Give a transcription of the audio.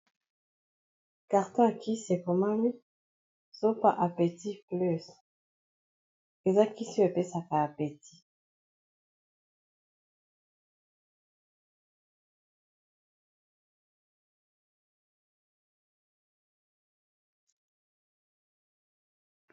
Carton ya kisi ekomami sopa apetit plus eza kisi epesaka apetit.